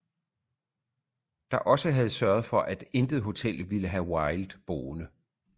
Der også havde sørget for at intet hotel ville have wilde boende